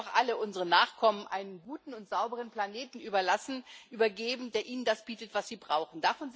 Wir wollen doch alle unseren Nachkommen einen guten und sauberen Planeten überlassen und übergeben, der ihnen das bietet, was sie brauchen.